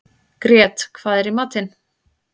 Grét, hvað er í matinn?